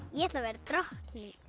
ég ætla að verða drottning